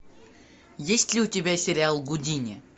есть ли у тебя сериал гудини